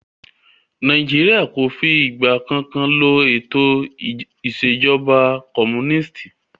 Nàìjíríà o fí ìgbà kankan lo ètò ìṣèjọba comúnìstì.